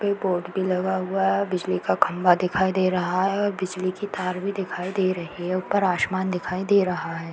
पे(पर) board भी लगा हुआ है। बिजली का खंभा दिखाई दे रहा है और बिजली की तार भी दिखाई दे रही है। ऊपर आसमान दिखाई दे रहा है।